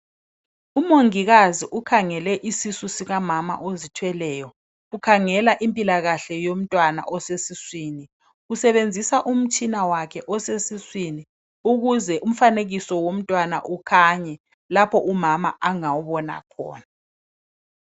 Umongikazi ukhangele isisu sikamama ozithweleyo .Ukhangela impilakahle yomntwana osesiswini. Usebenzisa umtshina wakhe osesiswini ukuze umfanekiso womntwana ukhanye. Lapha umama angawubona khona.